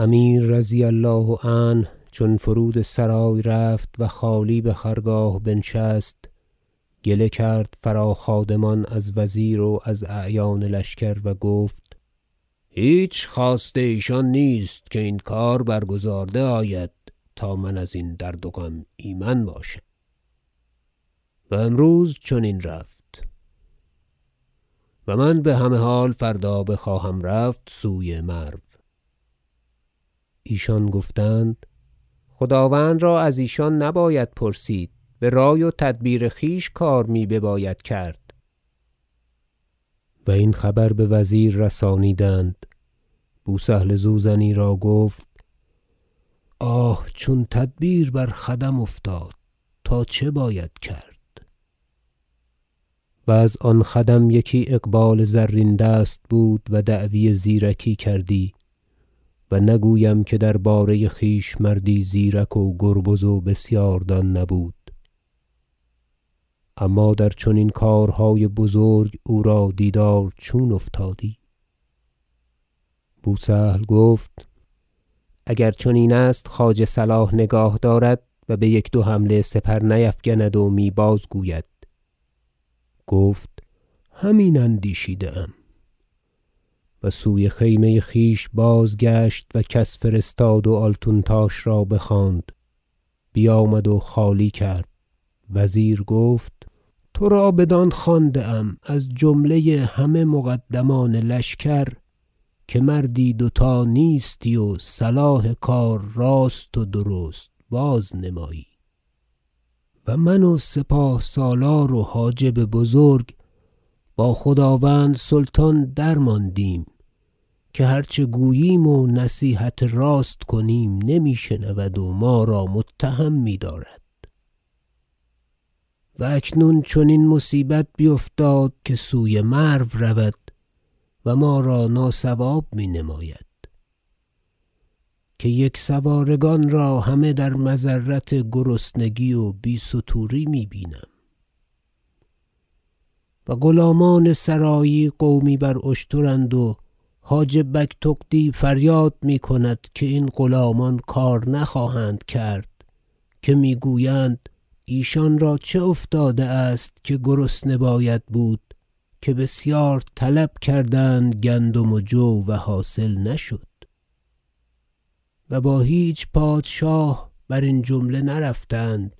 امیر رضی الله عنه چون فرود سرای رفت و خالی بخرگاه بنشست گله کرد فرا خادمان از وزیر و از اعیان لشکر و گفت هیچ خواست ایشان نیست که این کار برگزارده آید تا من ازین درد و غم ایمن باشم و امروز چنین رفت و من بهمه حال فردا بخواهم رفت سوی مرو ایشان گفتند خداوند را از ایشان نباید پرسید برای و تدبیر خویش کار می بباید کرد و این خبر بوزیر رسانیدند بو سهل زوزنی را گفت آه چون تدبیر بر خدم افتاد تا چه باید کرد و از آن خدم یکی اقبال زرین- دست بود و دعوی زیرکی کردی و نگویم که درباره خویش مردی زیرک و گربز و بسیار دان نبود اما در چنین کارهای بزرگ او را دیدار چون افتادی بو سهل گفت اگر چنین است خواجه صلاح نگاه دارد و بیک دو حمله سپر نیفگند و می- بازگوید گفت همین اندیشیده ام و سوی خیمه خویش بازگشت و کس فرستاد و آلتونتاش را بخواند بیامد و خالی کرد وزیر گفت ترا بدان خوانده ام از جمله همه مقدمان لشکر که مردی دو تا نیستی و صلاح کار راست و درست بازنمایی من و سپاه سالار و حاجب بزرگ با خداوند سلطان درماندیم که هر چه گوییم و نصیحت راست کنیم نمی شنود و ما را متهم میدارد و اکنون چنین مصیبت بیفتاد که سوی مرو رود و ما را ناصواب می نماید که یک سوارگان را همه در مضرت و گرسنگی و بی ستوری می بینیم و غلامان سرایی قومی بر اشترند و حاجب بگتغدی فریاد میکند که این غلامان کار نخواهند کرد که میگویند ایشان را چه افتاده است که گرسنه باید بود که بسیار طلب کردند گندم و جو و حاصل نشد و با هیچ پادشاه برین جمله نرفتند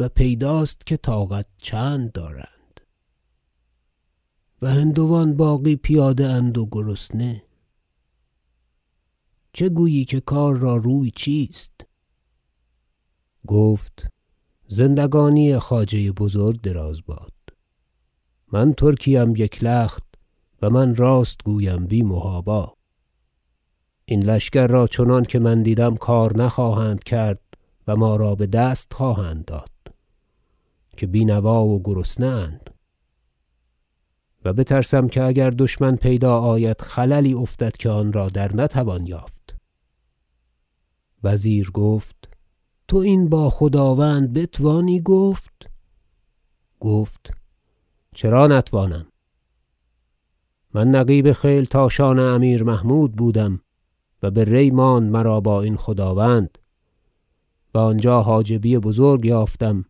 و پیداست که طاقت چند دارند و هندوان باقی پیاده اند و گرسنه چه گویی که کار را روی چیست گفت زندگانی خواجه بزرگ دراز باد من ترکی ام یک لخت و من راست گویم بی محابا این لشکر را چنانکه من دیدم کار نخواهند کرد و ما را بدست خواهند داد که بینوا و گرسنه اند و بترسم که اگر دشمن پیدا آید خللی افتد که آنرا در نتوان یافت وزیر گفت تو این با خداوند بتوانی گفت گفت چرا نتوانم گفت من نقیب خیلتاشان امیر محمود بودم و به ری ماند مرا با این خداوند و آنجا حاجبی بزرگ یافتم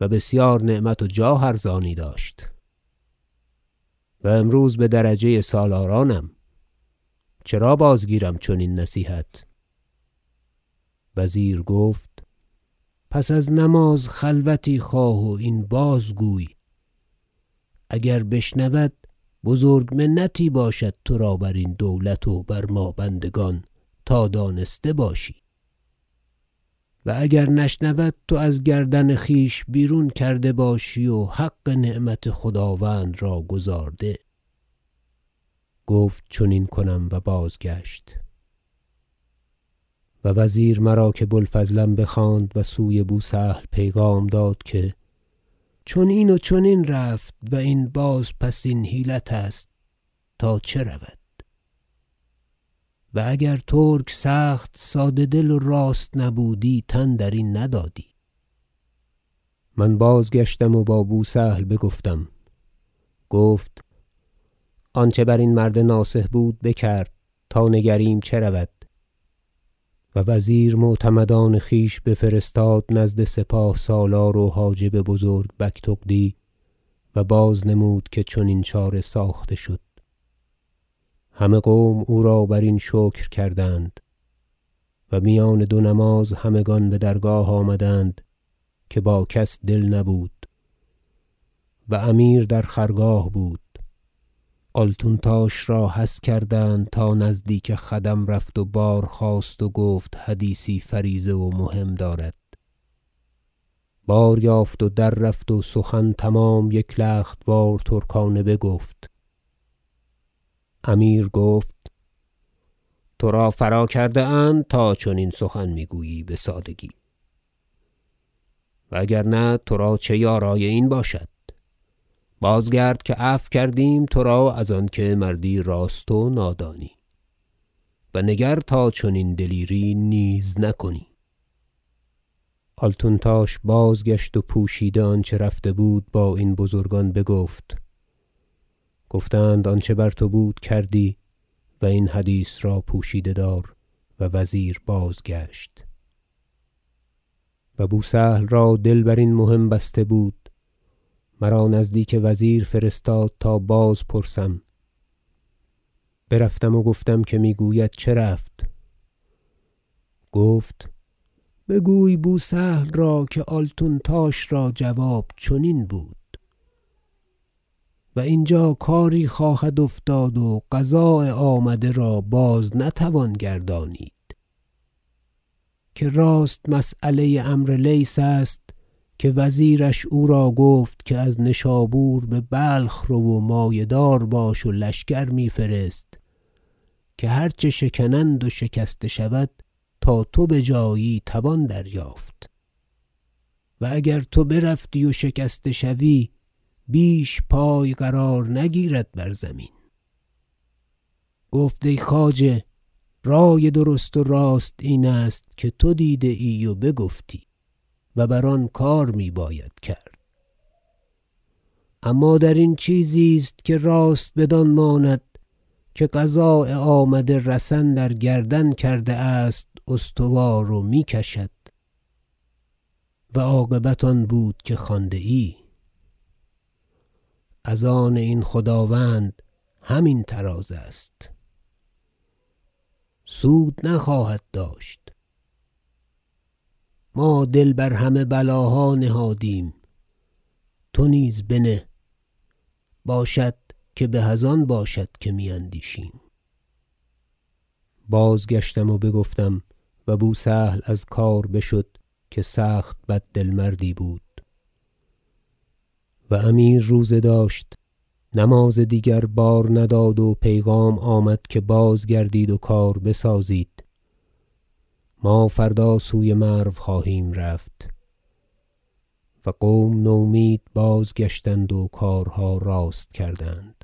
و بسیار نعمت و جاه ارزانی داشت و امروز بدرجه سالارانم چرا بازگیرم چنین نصیحت وزیر گفت پس از نماز خلوتی خواه و این بازگوی اگر بشنود بزرگ منتی باشد ترا برین دولت و بر ما بندگان تا دانسته باشی و اگر نشنود تو از گردن خویش بیرون کرده باشی و حق نعمت خداوند را گزارده گفت چنین کنم و بازگشت و وزیر مرا که بو الفضلم بخواند و سوی بو سهل پیغام داد که چنین و چنین رفت و این بازپسین حیلت است تا چه رود و اگر ترک سخت ساده دل و راست نبودی تن درین ندادی من بازگشتم و با بو سهل بگفتم گفت آنچه برین مرد ناصح بود بکرد تا نگریم چه رود و وزیر معتمدان خویش بفرستاد نزد سپاه سالار و حاجب بزرگ بگتغدی و باز نمود که چنین چاره ساخته شد همه قوم او را برین شکر کردند و میان دو نماز همگان بدرگاه آمدند که با کس دل نبود و امیر در خرگاه بود آلتونتاش را حث کردند تا نزدیک خدم رفت و بازخواست و گفت حدیثی فریضه و مهم دارد باریافت و در رفت و سخن تمام یک لخت وار ترکانه بگفت امیر گفت ترا فرا کرده اند تا چنین سخن میگویی بسادگی و اگر نه ترا چه یارای این باشد باز گرد که عفو کردیم ترا از آنکه مردی راست و نادانی و نگر تا چنین دلیری نیز نکنی آلتونتاش بازگشت و پوشیده آنچه رفته بود با این بزرگان بگفت گفتند آنچه بر تو بود بکردی و این حدیث را پوشیده دار و وزیر بازگشت و بو سهل را دل برین مهم بسته بود مرا نزدیک وزیر فرستاد تا بازپرسم برفتم و گفتم که میگوید چه رفت گفت بگوی بو سهل را که آلتونتاش را جواب چنین بود و اینجا کاری خواهد افتاد و قضاء آمده را باز نتوان گردانید که راست مسیله عمرو لیث است که وزیرش او را گفت که از نشابور ببلخ رو و مایه دار باش و لشکر می فرست که هر چه شکنند و شکسته شود تا تو بجایی توان دریافت و اگر تو بروی و شکسته شوی بیش پای قرار نگیرد بر زمین گفت ای خواجه رای درست و راست این است که تو دیده ای و بگفتی و بر آن کار میباید کرد اما درین چیزی است که راست بدان ماند که قضاء آمده رسن در گردن کرده است استوار و می کشد و عاقبت آن بود که خوانده ای از آن این خداوند همین طراز است سود نخواهد داشت ما دل همه بر بلاها نهادیم تو نیز بنه باشد که به از آن باشد که می اندیشیم بازگشتم و بگفتم و بو سهل از کار بشد که سخت بددل مردی بود و امیر روزه داشت نماز دیگر بار نداد و پیغام آمد که بازگردید و کار بسازید ما فردا سوی مرو خواهیم رفت و قوم نومید بازگشتند و کارها راست کردند